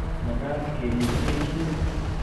mekat kerib kechirek